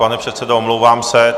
Pane předsedo, omlouvám se.